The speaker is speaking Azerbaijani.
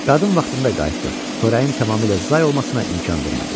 Qadın vaxtında qayıtdı, xörəyin tamamilə zay olmasına imkan vermədi.